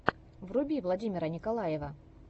вруби владимир николаев